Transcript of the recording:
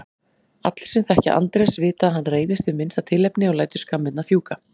Allir sem þekkja Andrés vita að hann reiðist við minnsta tilefni og lætur skammirnar fjúka.